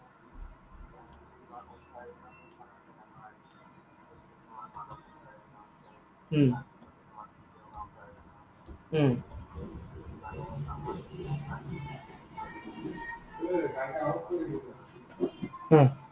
উম উম উম